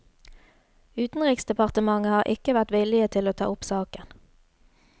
Utenriksdepartementet har ikke vært villige til å ta opp saken.